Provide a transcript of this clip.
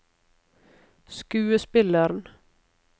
skuespilleren